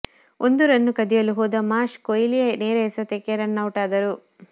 ಒಂದು ರನ್ ಕದಿಯಲು ಹೋದ ಮಾರ್ಷ್ ಕೊಹ್ಲಿಯ ನೇರ ಎಸೆತಕ್ಕೆ ರನೌಟಾದರು